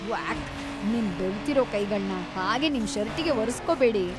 ವ್ಯಾಕ್. ನಿಮ್ ಬೆವ್ತಿರೋ ಕೈಗಳ್ನ ಹಾಗೆ ನಿಮ್ ಷರ್ಟಿಗೆ ಒರೆಸ್ಕೋಬೇಡಿ.